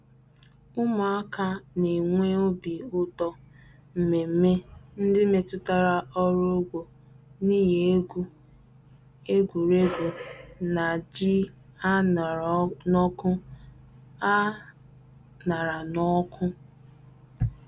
Ụmụaka na-enwe obi ụtọ n'mmemme ndị metụtara ọrụ ugbo n'ihi egwu, egwuregwu, na ji a ṅara n'ọkụ. a ṅara n'ọkụ.